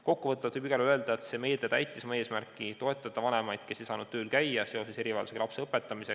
Kokkuvõtvalt võib igal juhul öelda, et see meede täitis oma eesmärki – toetada vanemaid, kes ei saanud erivajadusega lapse õpetamise tõttu tööl käia.